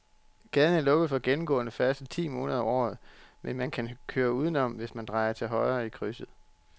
Gaden er lukket for gennemgående færdsel ti måneder om året, men man kan køre udenom, hvis man drejer til højre i krydset.